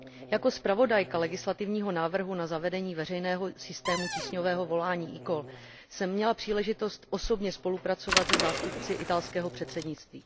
Jako zpravodajka legislativního návrhu na zavedení veřejného systému tísňového volání eCall jsem měla příležitost osobně spolupracovat se zástupci italského předsednictví.